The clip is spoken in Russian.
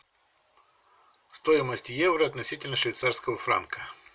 стоимость евро относительно швейцарского франка